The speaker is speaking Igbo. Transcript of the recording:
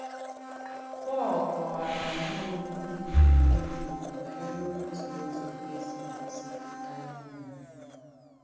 Pọ̀l kọ̀wàrà nnọ̀ọ̀ òkwù ùgbòrò ùgbòrò banyere òtù ùzọ̀ e sì gọ̀sìpùtà ìhùnànyà.